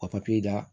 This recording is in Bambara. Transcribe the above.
Ka papiye da